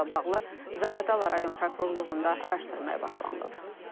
Faktla bağlı Zaqatala rayon prokurorluğunda araşdırmaya başlanılıb.